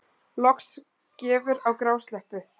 Loks gefur á grásleppu